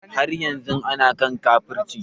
Har yanzu ana kan kafirci